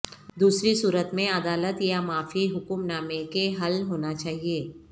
دوسری صورت میں عدالت یا معافی حکمنامے کے حل ہونا چاہیے